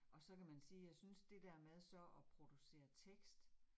Og så kan man sige, jeg synes det der med så at producere tekst